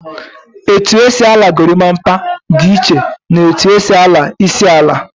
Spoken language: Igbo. Etu esi ala gorimapa di iche na etu esi ala isi ala